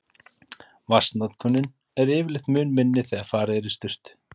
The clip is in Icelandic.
Vatnsnotkunin er yfirleitt mun minni þegar farið er í sturtu.